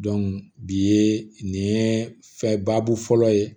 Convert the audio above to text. bi ye nin ye fɛn baabu fɔlɔ ye